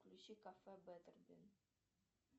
включи кафе беттербин